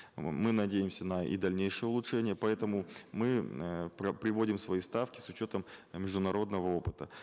м мы надеемся на и дальнейшее улучшение поэтому мы э приводим свои ставки с учетом международного опыта